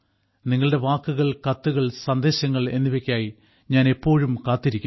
നിങ്ങളുടെ വാക്കുകൾ കത്തുകൾ സന്ദേശങ്ങൾ എന്നിവയ്ക്കായി ഞാൻ എപ്പോഴും കാത്തിരിക്കുന്നു